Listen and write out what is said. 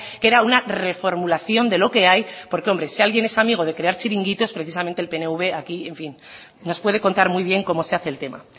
que era una reformulación de lo que hay porque hombre si alguien es amigo de crear chiringuitos precisamente el pnv aquí en fin nos puede contar muy bien cómo se hace el tema